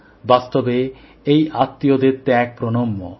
বাস্তবে এই আত্মীয়দের ত্যাগ প্রণম্য